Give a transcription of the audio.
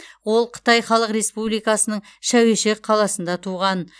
ол қытай халық республикасының шәуешек қаласында туған